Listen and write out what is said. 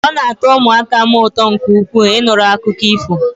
Ọ na atọ ụmụaka m ụtọ nke ukwuu, Ị nụrụ akụkọ ifo